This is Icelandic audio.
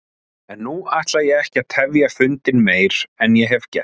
En nú ætla ég ekki að tefja fundinn meir en ég hef gert.